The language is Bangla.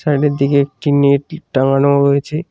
ছাদের দিকে একটি টাঙানো রয়েছে।